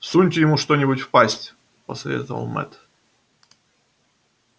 всуньте ему что нибудь в пасть посоветовал мэтт